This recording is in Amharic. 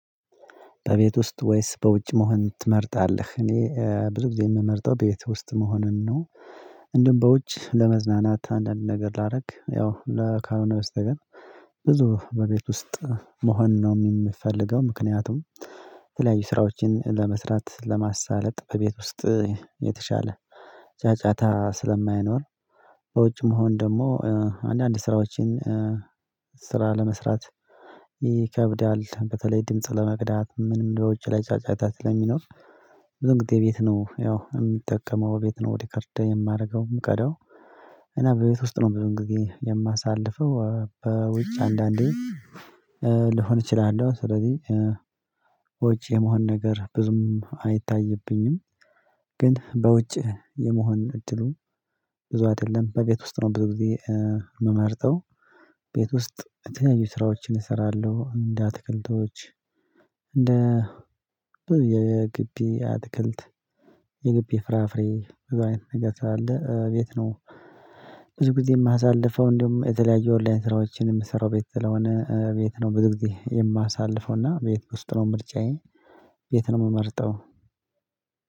በቤት ውስጥ ወይስ በውጭ መሆን ትመርጣለህ? እኔ ብዙ ጊዜ የምመርጠው በቤት ውስጥ መሆንን ነው። እንደን በውጭ ለመዝናናት አንዳንድ ነገር ላረግ ያው ካልሆነ በስተቀር። ብዙ በቤት ውስጥ መሆን ነው ሚመ ምፈልገው ምክንያቱም። የተለያዩ ስራዎችን ለመስራት ለማሳለጥ በቤት ውስጥ የተሻለ ጫጫታ ስለማይኖር። በውጭ መሆን ደግሞ አንዳንድ ስራዎችን ስራ ለመስራት ይከብዳል። በተለይ ድምጽ ለመቅዳት ምንም በውጭ ላይ ጫጫታ ስለሚኖር። ብዙ ጊዜ ቤት ነው ያው የምጠቀመው ቤት ነው ሪከርድ የማረገው ምቀዳው። እና በቤት ውስጥ ነው ብዙ ጊዜ የማሳልፈው። በውጭ አንዳንዴ እችላለሁ ስለዚህ ውጪ የመሆን ነገር ብዙም አይታይብኝም። ግን በውጭ የመሆን እድሉ ብዙ አደለም በቤት ውስጥ ነው። ብዙ ጊዜ ምመርጠው ቤት ውስጥ የተለያዩ ስራዎችን እሰራለሁ። እንደ አትክልቶች፣ እንደ ብዙ የጊቢ አትክልት፣ የጊቢ ፍራፍሬ ብዙ አይነት ነገር ስላለ ቤት ነው። ብዙ ጊዜ ማሳልፈው እንደውም የተለያየ ኦንላይን ስራዎችን የምሰራው ቤት ስለሆነ ቤት ነው። ብዙ ጊዜ የማሳልፈው እና ቤት ውስጥ ነው ምርጫዬ። ቤት ነው ምመርጠው።